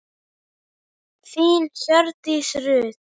Þín, Hjördís Rut.